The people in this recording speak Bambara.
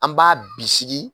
An b'a bisiki